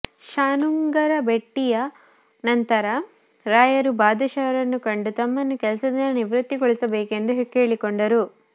ಶಾನುಂಗರ ಭೆಟ್ಟಿಯ ನಂತರ ರಾಯರು ಬಾದಶಹರನ್ನು ಕಂಡು ತಮ್ಮನ್ನು ಕೆಲಸದಿಂದ ನಿವೃತ್ತಿಗೊಳಿಸಬೇಕೆಂದು ಕೇಳಿಕೊಂಡರು